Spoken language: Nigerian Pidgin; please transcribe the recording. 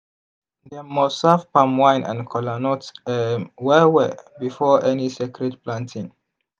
dem must serve palm wine and kola nut um well well before any sacred planting.